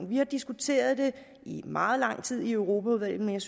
vi har diskuteret i meget lang tid i europaudvalget